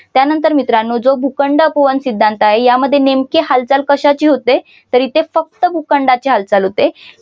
त्यानंतर मित्रानो जो भूखंड अपवन सिद्धांत आहे यामध्ये नेमकी कशाची होते तर इथे फक्त भूखंडांची हालचाल होते.